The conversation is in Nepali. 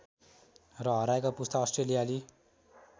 र हराएको पुस्ता अस्ट्रेलियाली